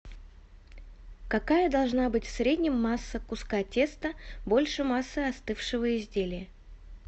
какая должна быть в среднем масса куска теста больше массы остывшего изделия